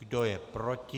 Kdo je proti?